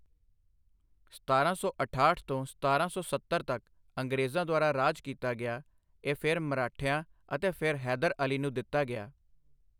ਸਤਾਰਾਂ ਸੌ ਅਠਾਹਠ ਤੋਂ ਸਤਾਰਾਂ ਸੌ ਸੱਤਰ ਤੱਕ ਅੰਗਰੇਜ਼ਾਂ ਦੁਆਰਾ ਰਾਜ ਕੀਤਾ ਗਿਆ, ਇਹ ਫਿਰ ਮਰਾਠਿਆਂ ਅਤੇ ਫਿਰ ਹੈਦਰ ਅਲੀ ਨੂੰ ਦਿੱਤਾ ਗਿਆ।